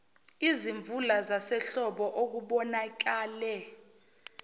izimvula zasehlobo okubonakale